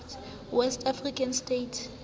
west african states